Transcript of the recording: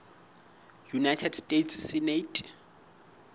united states senate